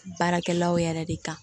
Baarakɛlaw yɛrɛ de kan